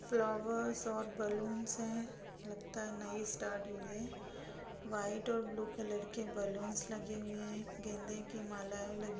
flowers और balloon है लगता है नई स्टार्ट हुई है व्हाइट और ब्लू कलर के बलूनस लगे हुए हैगेंदे की मालाएं लगी----